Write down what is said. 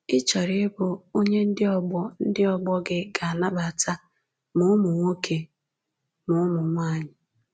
Ị̀ chọrọ ịbụ onye ndị ọgbọ ndị ọgbọ gị ga-anabata, ma ụmụ nwoke ma ụmụ nwanyị.”